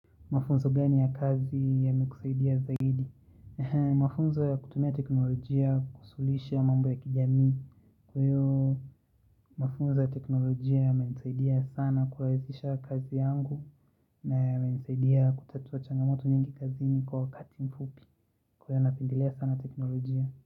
Mafunzo gani ya kazi yamekusaidia zaidi? Mafunzo ya kutumia teknolojia, kusuluhisha mambo ya kijami. Kwa hiyo, mafunzo ya teknolojia yamenisaidia sana kuwezesha kazi yangu. Na yamenisaidia kutatua changamoto nyingi kazini kwa wakati mfupi. Kwa hiyo ynapendelea sana teknolojia.